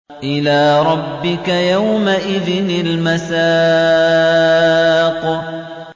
إِلَىٰ رَبِّكَ يَوْمَئِذٍ الْمَسَاقُ